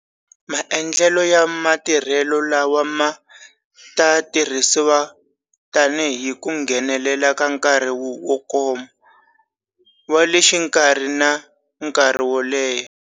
Maendlelo ya matirhelo lawa ma ta tirhisiwa tanihi ku nghenelela ka nkarhi wo koma, wa le xikarhi na nkarhi wo leha.